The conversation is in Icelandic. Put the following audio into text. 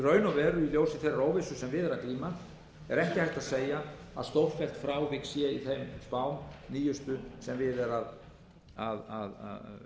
raun og veru í ljósi þeirrar óvissu sem við er að glíma er ekki hægt að segja að stórfelld frávik séu í þeim nýjustu spám sem við er að